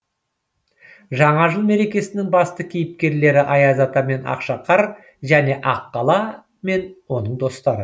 жаңа жыл мерекесінің басты кейіпкерлері аяз ата мен ақшақар және аққала мен оның достары